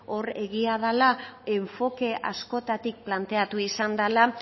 hori egia dela enfoke askotatik planteatu izan dela